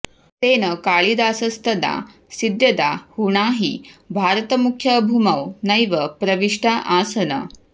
तेन कालिदासस्तदाऽऽसीद्यदा हूणा हि भारतमुख्यभूमौ नैव प्रविष्टा आसन्